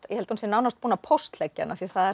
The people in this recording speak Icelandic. ég held að hún sé nánast búin að póstleggja hann af því það